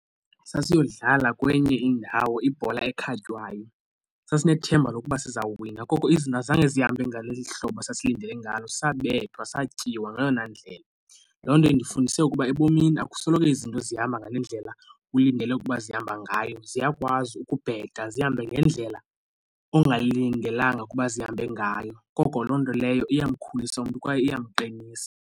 Sasiyodlala kwenye indawo ibhola ekhatywayo sasinethemba lokuba sizawuwina koko izinto zange zihambe ngeli hlobo sasilindele ngalo sabethwa, satyiwa ngeyona ndlela. Loo nto undifundise ukuba ebomini akusoloko izinto zihamba ngale ndlela ulindele ukuba zihamba ngayo ziyakwazi ukubheka zihambe ngendlela ongalindelanga ukuba zihambe ngayo. Ngoko loo nto leyo iyamkhulisa umntu kwaye iyamqinisa.